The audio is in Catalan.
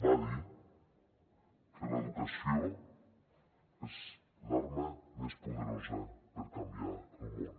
va dir que l’educació és l’arma més poderosa per canviar el món